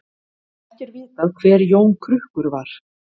Ekki er vitað hver Jón krukkur var.